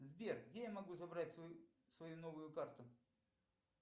сбер где я могу забрать свою новую карту